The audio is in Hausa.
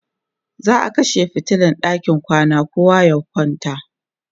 za'a kashe fitilan ɗakin kwana kowa ya kwanta